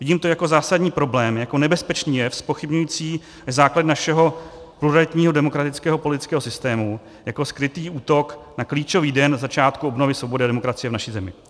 Vidím to jako zásadní problém, jako nebezpečný jev zpochybňující základy našeho pluralitního demokratického politického systému, jako skrytý útok na klíčový den začátku obnovy svobody a demokracie v naší zemi.